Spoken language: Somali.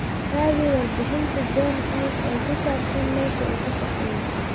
raadi warbixinta john smith oo saabsan mesha uu kashaqeyo